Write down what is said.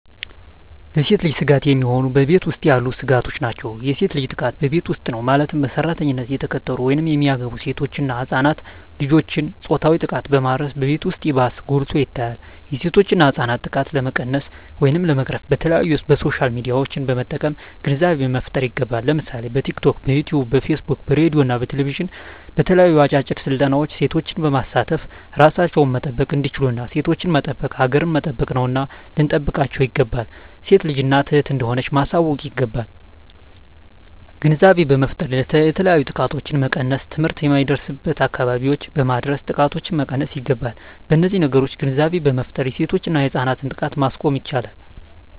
ለሴት ልጅ ስጋት የሚሆኑ በቤት ውስጥ ያሉ ስጋቶች ናቸው። የሴት ልጅ ጥቃት በቤት ውስጥ ነው ማለትም በሰራተኝነት የተቀጠሩ ወይም የሚገቡ ሴቶች እና ህፃናት ልጆችን ፆታዊ ጥቃትን በማድረስ በቤት ውስጥ ይባስ ጎልቶ ይታያል የሴቶችና ህፃናት ጥቃት ለመቀነስ ወይም ለመቅረፍ በተለያዪ በሶሻል ሚዲያዎችን በመጠቀም ግንዛቤ መፍጠር ይገባል ለምሳሌ በቲክቶክ, በዩቲቪ , በፌስቡክ በሬድዬ እና በቴሌቪዥን በተለያዩ አጫጭር ስልጠናዎች ሴቶችን በማሳተፍ እራሳቸውን መጠበቅ እንዲችሉና ሴቶችን መጠበቅ ሀገርን መጠበቅ ነውና ልንጠብቃቸው ይገባል። ሴት ልጅ እናት እህት እንደሆነች ማሳወቅ ይገባል። ግንዛቤ በመፍጠር የተለያዩ ጥቃቶችን መቀነስ ትምህርት የማይደርስበትን አካባቢዎች በማድረስ ጥቃቶችን መቀነስ ይገባል። በነዚህ ነገሮች ግንዛቤ በመፍጠር የሴቶችና የህፃናት ጥቃትን ማስቆም ይቻላል።